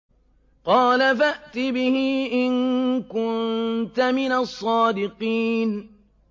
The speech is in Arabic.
قَالَ فَأْتِ بِهِ إِن كُنتَ مِنَ الصَّادِقِينَ